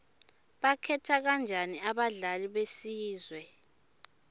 bakhetha kanjani abadlali besizwe